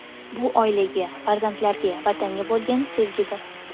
Bu oilaga, farzandlarga, Vatanga bo‘lgan sevgidir.